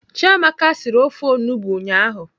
Chiamaka siri ofe onugbo ụnyaahụ.